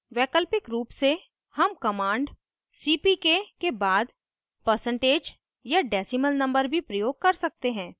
वैकल्पिक रूप से हम command cpk के बाद percentage या decimal number भी प्रयोग कर सकते हैं